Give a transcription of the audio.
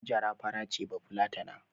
Hajara fara ce bafulatana